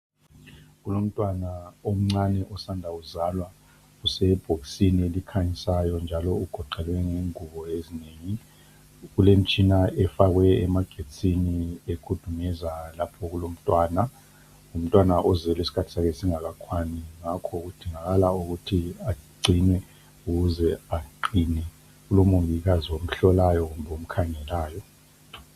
Kulomntwana omncani osanda kuzalwa use bhokisini elikhanyayo njalo ugoqelwe ngengubo ezinengi kukemtshina efakwe emagetsini ekhudumeza lapho okulomntwana ngumntwana ozelwe isikhathi sakhe singakakwani ngakho kudingakala ukuthi agcinwe ukuze aqine kulomongikazi omhlolayo kumbe omkhangelayo